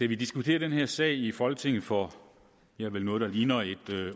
vi diskuterede den her sag i folketinget for ja noget der vel ligner et